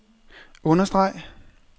understreg